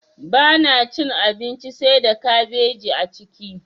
Bana cin abinci saida kabeji a ciki.